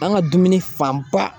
An ka dumuni fanba